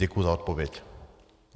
Děkuji za odpověď.